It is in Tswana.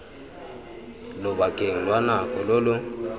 lobakeng lwa nako lo lo